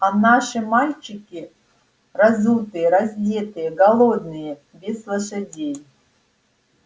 а наши мальчики разутые раздетые голодные без лошадей